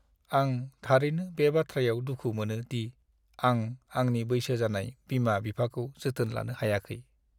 आं थारैनो बे बाथ्रायाव दुखु मोनो दि आं आंनि बैसो जानाय बिमा-बिफाखौ जोथोन लानो हायाखै।